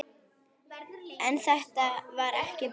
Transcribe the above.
En þetta var ekki búið.